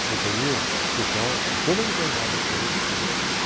A companhia, deixar, com toda liberdade, fazer o que quer.